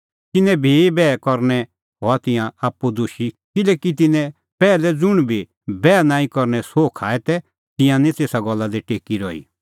तिन्नें भी बैह करनै करै हआ तिंयां आप्पू दोशी किल्हैकि तिन्नैं पैहलै ज़ुंण भी बैह नांईं करने सोह खाऐ तै तिंयां निं तेसा गल्ला दी टेकी रही